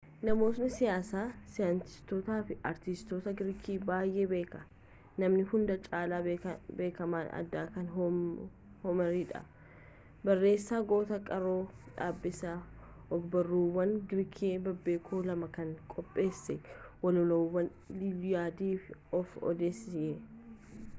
namoota siyaasaa saayintiistootaa fi artistoota giriikii baay'ee beekna namni hunda caalaa beekaman aadaa kanaa hoomeridha barreessa goota qaroo dhabeessa ogbarruuwwan giriikii bebbeekamoo lama kan qopheesse walaloowwan iiliyaadii fi oodiiseey